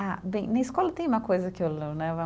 Ah, bem, na escola tem uma coisa que eu, né?